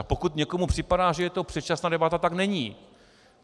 A pokud někomu připadá, že je to předčasná debata, tak není.